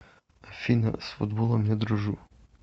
афина с футболом не дружу